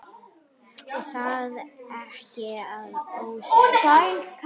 Og það ekki að ósekju.